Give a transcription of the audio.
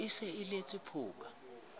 le se le letse phoka